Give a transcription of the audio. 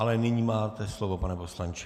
Ale nyní máte slovo, pane poslanče.